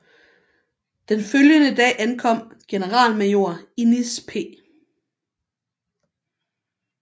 Den følgende dag ankom generalmajor Innis P